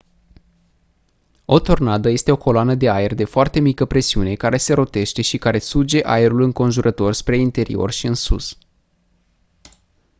o tornadă este o coloană de aer de foarte mică presiune care se rotește și care suge aerul înconjurător spre interior și în sus